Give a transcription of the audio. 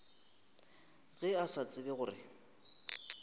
ge a sa tsebe gore